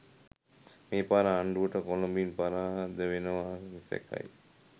මේ පාර ආණ්ඩුව කොළඹින් පරාද වෙනවා නිසැකයි